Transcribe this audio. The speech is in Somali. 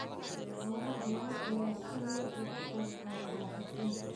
Xoolaha nool ayaa si weyn uga qayb qaata dhoofinta.